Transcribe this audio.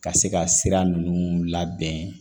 Ka se ka sira nunnu labɛn